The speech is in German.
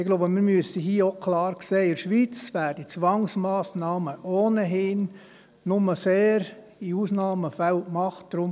Ich glaube, hier müssen wir auch klar sehen, dass in der Schweiz Zwangsmassnahmen ohnehin nur in Ausnahmefällen angewendet werden.